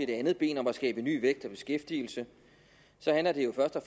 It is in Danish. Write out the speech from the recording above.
det andet ben om at skabe ny vækst og beskæftigelse handler det jo først og